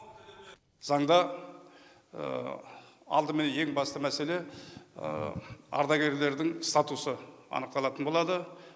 заңда алдымен ең басты мәселе ардагерлердің статусы анықталатын болады